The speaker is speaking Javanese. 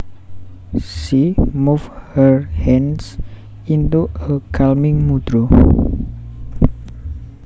She moved her hands into a calming mudra